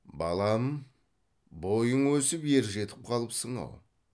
балам бойың өсіп ержетіп қалыпсың ау